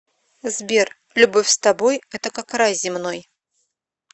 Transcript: сбер любовь с тобой это как рай земной